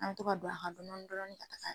An bi to ka don a kan dɔɔni dɔɔni